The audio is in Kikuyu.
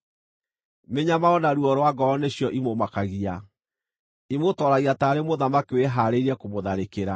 Mĩnyamaro na ruo rwa ngoro nĩcio imũmakagia; imũtooragia taarĩ mũthamaki wĩhaarĩirie kũmũtharĩkĩra,